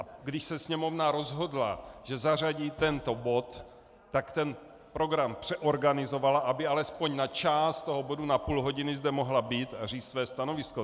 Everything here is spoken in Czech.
A když se Sněmovna rozhodla, že zařadí tento bod, tak ten program přeorganizovala, aby alespoň na část toho bodu, na půl hodiny, zde mohla být a říct své stanovisko.